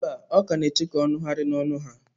Mba, ọ ka nọ na-eche ka ọ nụghachi n'ọnụ ha.